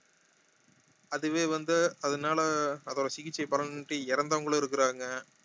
அதுவே வந்து அதனால அதோட சிகிச்சை பலனின்றி இறந்தவங்களும் இருக்குறாங்க